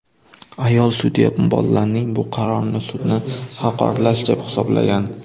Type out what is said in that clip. Ayol sudya bolalarning bu qarorini sudni haqoratlash deb hisoblagan.